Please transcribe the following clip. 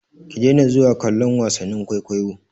Ki daina zuwa kallon wasannin kwaikwayo!